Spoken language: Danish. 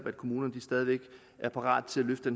at kommunerne stadig er parate til at løfte